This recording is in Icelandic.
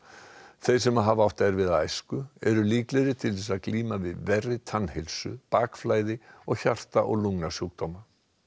þeir sem hafa átt erfiða æsku eru líklegri til að glíma við verri tannheilsu bakflæði og hjarta og lungnasjúkdóma